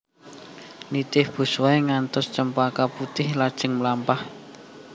Nitih busway ngantos Cempaka Putih lajeng mlampah